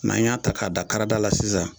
Nan y'a ta k'a da karada la sisan